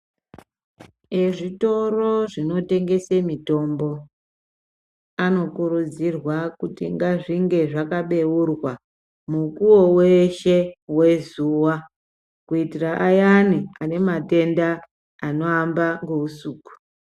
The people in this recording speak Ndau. Ezvitoro zvinotengese mitombo aokurudzirwa kuti ngazvinge zvakabeurwa mukuwo weshe wezuwa kutira ayani anematenda anoamba ngeusuku.